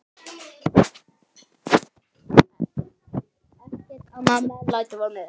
Ekkert annað meðlæti var með.